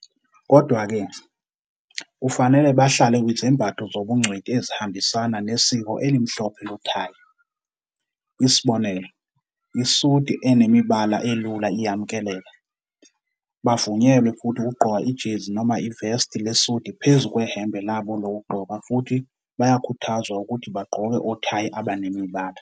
Kodwa-ke, kufanele bahlale kwizembatho zobungcweti ezihambisana nesiko elimhlophe nothayi. Isibonelo, isudi enemibala elula iyamukeleka. Bavunyelwe futhi ukugqoka ijezi noma ivesti lesudi phezu kwehembe labo lokugqoka futhi bayakhuthazwa ukuthi bagqoke othayi abanemibala.